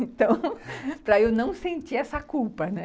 Então, para eu não sentir essa culpa, né?